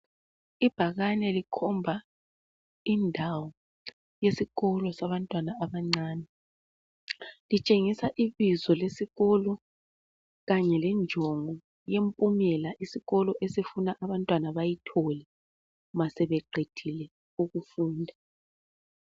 Ibhakane likhomba indawo yesikolo sabantwana abancane. Litshengisa ibizo lesikolo kanye lenjongo yempumela isikolo esifuna abantwana bayithole ma sebeqedile ukufunda.